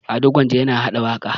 Ado Gwanja yana haɗa waƙa.